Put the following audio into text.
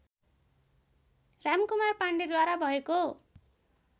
रामकुमार पाण्डेद्वारा भएको